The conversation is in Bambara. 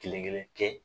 Kelen kelen kɛ